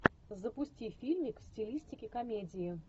запусти фильмик в стилистике комедии